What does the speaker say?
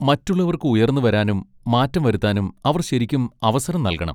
മറ്റുള്ളവർക്ക് ഉയർന്നുവരാനും മാറ്റം വരുത്താനും അവർ ശരിക്കും അവസരം നൽകണം.